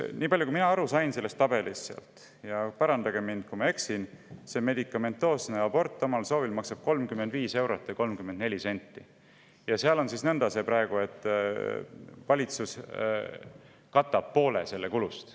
Nii palju, kui mina sellest tabelist aru sain – parandage mind, kui ma eksin –, maksab omal soovil tehtav medikamentoosne abort 35 eurot ja 34 senti ja praegu on see nõnda, et valitsus katab poole sellest kulust.